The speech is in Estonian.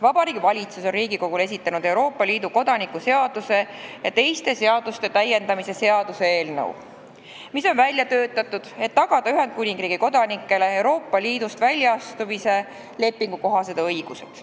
Vabariigi Valitsus on Riigikogule esitanud Euroopa Liidu kodaniku seaduse ja teiste seaduste täiendamise seaduse eelnõu, mis on välja töötatud selleks, et tagada Ühendkuningriigi kodanikele Euroopa Liidust välja astumise lepingu kohased õigused.